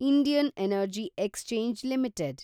Indian energy exchange limited